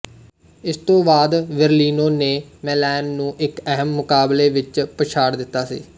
ਇਸ ਤੋਂ ਬਾਅਦ ਬਰਲਿਨੋ ਨੇ ਮੇਲੈਨ ਨੂੰ ਇੱਕ ਅਹਿਮ ਮੁਕਾਬਲੇ ਵਿੱਚ ਪਛਾਡ਼ ਦਿੱਤਾ ਸੀ